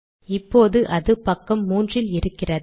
இப்போது அது பக்கம் 3 இல் இருக்கிறது